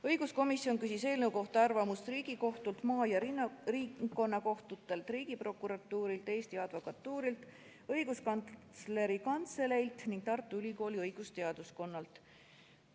Õiguskomisjon küsis eelnõu kohta arvamust Riigikohtult, maa- ja ringkonnakohtutelt, Riigiprokuratuurilt, Eesti Advokatuurilt, Õiguskantsleri Kantseleilt ning Tartu Ülikooli õigusteaduskonnalt.